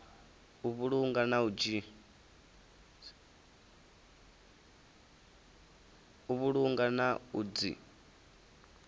u vhulunga na u dzi